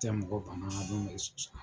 Tɛ mɔgɔ bamanan dun be